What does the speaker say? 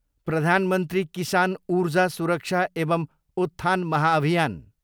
प्रधान मन्त्री किसान ऊर्जा सुरक्षा एवं उत्थान महाभियान